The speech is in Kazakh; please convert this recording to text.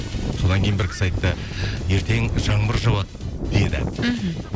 содан кейін бір кісі айтты ертең жаңбыр жауады деді мхм